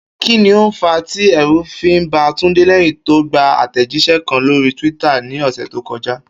Kí ni ó fàá tí è̩rù fi ba Túndé lé̩yìn tó gba àtè̩jís̩e̩ kan lórí twitter ní ò̩sè̩ tó ko̩já?